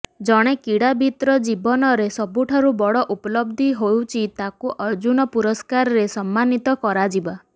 ଜଣେ କ୍ରୀଡ଼ାବିତ୍ର ଜୀବନରେ ସବୁଠାରୁ ବଡ଼ ଉପଲବ୍ଧି ହେଉଛି ତାକୁ ଅର୍ଜୁନ ପୁରସ୍କାରରେ ସମ୍ମାନିତ କରାଯିବା